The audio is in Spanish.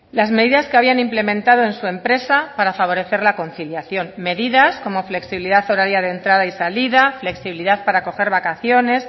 las medidas que habían implementado en su empresa para favorecer la conciliación medidas como flexibilidad horaria de entrada y salida flexibilidad para coger vacaciones